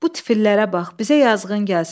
Bu tifillərə bax, bizə yazığın gəlsin.